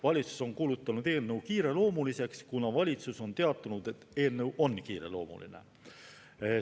Valitsus on kuulutanud eelnõu kiireloomuliseks, kuna valitsus on teatanud, et eelnõu on kiireloomuline.